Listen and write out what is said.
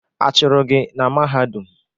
A chụrụ gị na Mahadum?